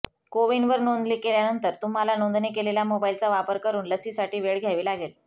कोविनवर नोंदणी केल्यानंतर तुम्हाला नोंदणी केलेल्या मोबाईलचा वापर करुन लसीसाठी वेळ घ्यावी लागेल